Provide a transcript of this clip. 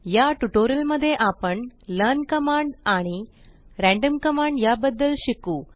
या ट्यूटोरियल मध्ये आपण लर्न कमांड आणि रॅन्डम कमांड या बद्दल शिकू